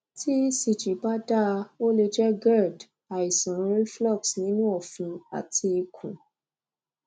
tí ecg bá dáa o lè jẹ gerd àìsàn cs] reflux nínú ọfun àti ikun